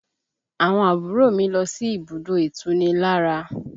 Àwọn àbúrò mi lọ sí ibùdó itunilára